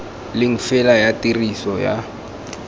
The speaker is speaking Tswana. leng fela ya tiriso ya